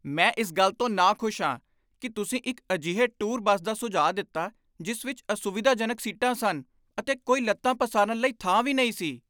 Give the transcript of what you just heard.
ਮੈਂ ਇਸ ਗੱਲ ਤੋਂ ਨਾਖੁਸ਼ ਹਾਂ ਕਿ ਤੁਸੀਂ ਇੱਕ ਅਜਿਹੇ ਟੂਰ ਬੱਸ ਦਾ ਸੁਝਾਅ ਦਿੱਤਾ ਜਿਸ ਵਿੱਚ ਅਸੁਵਿਧਾਜਨਕ ਸੀਟਾਂ ਸਨ ਅਤੇ ਕੋਈ ਲੱਤਾਂ ਪਸਾਰਨ ਲਈ ਥਾਂ ਵੀ ਨਹੀਂ ਸੀ।